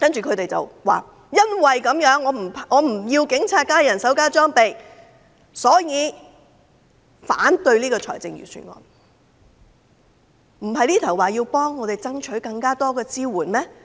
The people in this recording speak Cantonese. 他們說因為不支持警察增加人手和裝備，所以要反對預算案，但他們剛才不是說要為市民爭取更多支援嗎？